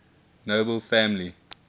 nobel family